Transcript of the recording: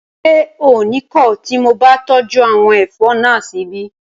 Ṣé o ní kọ̀ tí mo bá tọ́jú àwọn ẹ̀fọ́ náà síbí?